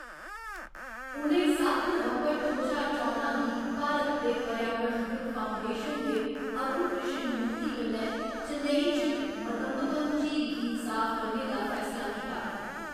उ'नें सत्त नवंबर दो ज्हार चौदां गी भारत दे पर्यावरणविद् फाउंडेशन दे अरुण कृष्णमूर्ति कन्नै चेन्नई च मदंबक्कम झील गी साफ करने दा फैसला कीता।